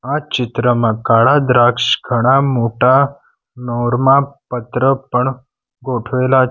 આ ચિત્રમાં કાળા દ્રાક્ષ ઘણા મોટા નોરમાં પત્ર પણ ગોઠવેલા છે.